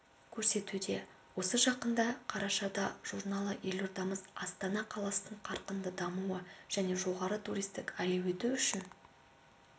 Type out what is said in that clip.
көрсетуде осы жақында қарашада журналы елордамыз астана қаласын қарқынды дамуы және жоғары туристік әлеуеті үшін